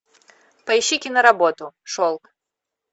поищи киноработу шелк